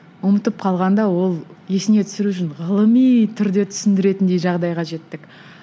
ұмытып қалғанда ол есіне түсіру үшін ғылыми түрде түсіндіретіндей жағдайға жеттік